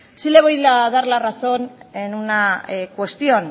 sí le voy a dar la razón en una cuestión